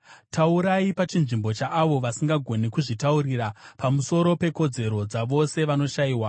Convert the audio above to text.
“Taurai pachinzvimbo chaavo vasingagoni kuzvitaurira, pamusoro pekodzero dzavose vanoshayiwa.